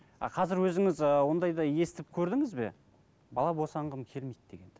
а қазір өзіңіз ыыы ондайды естіп көрдіңіз бе бала босанғым келмейді дегенді